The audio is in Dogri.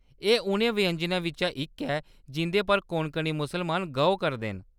एह्‌‌ उ'नें व्यंजनें बिच्चा इक ऐ जिं'दे पर कोंकणी मुसलमान गौह्‌‌ करदे न।